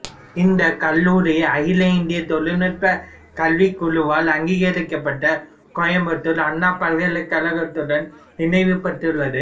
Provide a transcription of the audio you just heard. இந்த கல்லூரி அகில இந்திய தொழில்நுட்பக் கல்விக் குழுவால் அங்கீகரிக்கப்பட்டு கோயம்புத்தூர் அண்ணா பல்கலைக்கழகத்துடன் இணைவுபெற்றுள்ளது